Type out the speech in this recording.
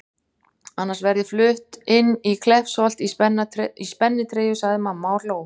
Annars verð ég flutt inn í Kleppsholt í spennitreyju sagði mamma og hló.